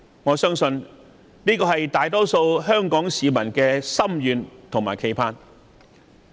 我相信這是大多數香港市民的心願和期盼。